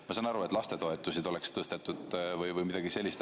Ma saaksin aru, kui lastetoetusi oleks tõstetud või midagi sellist.